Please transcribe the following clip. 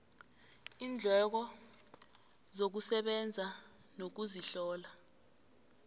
iindleko zokusebenza nokuzihlola